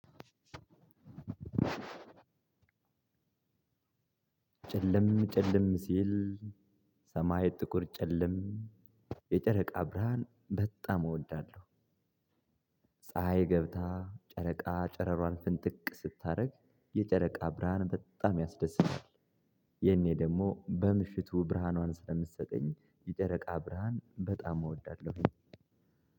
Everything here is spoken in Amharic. ጨለም ጨለም ሲል ሰማይ ጥቁር ጭልም የጨረቃ ብርሃን በጣም እወዳለሁ። ፀሀይ ገብታ ጨረቃ ጨረሯን ፍንጥቅ ስታደርግ የጨረቃ ብርሃን በጣም ያስደስታል። የኔ ደግሞ በምሽቱ ብርሃኗን ስለምሰጠኝ የጨረቃ ብርሃን በጣም እወዳለሁኝ።